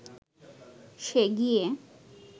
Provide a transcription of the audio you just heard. সে গিয়ে